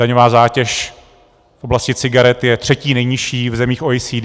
Daňová zátěž v oblasti cigaret je třetí nejnižší v zemích OECD.